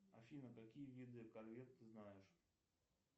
афина какие виды колье ты знаешь